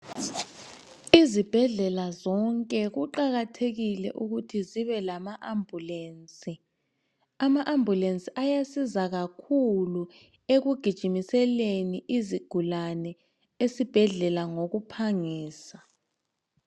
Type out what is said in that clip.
Izibhedlela zonke kuqakathekile ukuthi zibe lama ambulensi. Ama ambulensi ayasiza kakhulu ekugijimiseleni izigulane esibhedlela ngokuphangisa.